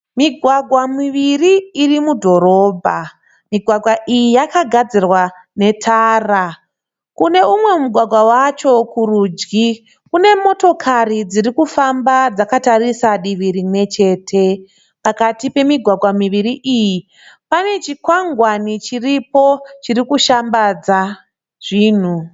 Migwagwa miviri iri mudhorobha. Migwagwa iyi yakagadzirwa netara. Kune umwe mugwagwa wacho kurudyi kune motikari dziri kufamba dzakatarisa divi rimwe chete. Pakati pemigwagwa miviri iyi pane chikwangani chiripo chiri kushambadza zvinhu.